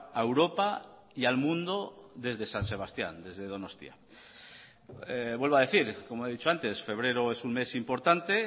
a europa y al mundo desde san sebastián desde donostia vuelvo a decir como he dicho antes febrero es un mes importante